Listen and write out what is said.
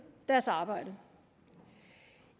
deres arbejde